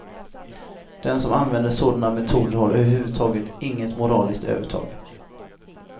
Den som använder sådana metoder har överhuvudtaget inget moraliskt övertag.